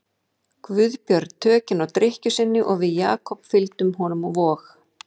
Guðbjörn tökin á drykkju sinni og við Jakob fylgdum honum á Vog.